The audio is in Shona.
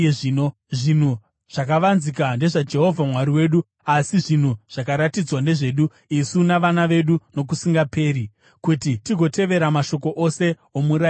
Zvinhu zvakavanzika ndezvaJehovha Mwari wedu, asi zvinhu zvakaratidzwa ndezvedu isu navana vedu nokusingaperi, kuti tigotevera mashoko ose omurayiro uyu.